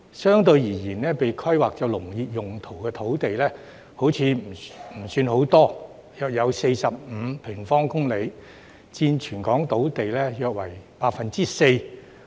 相對而言，被規劃作農業用途的土地好像不算太多，約有45平方公里，佔全港土地面積約 4%。